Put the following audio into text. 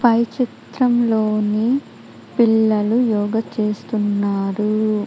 పై చిత్రంలోని పిల్లలు యోగా చేస్తున్నారు.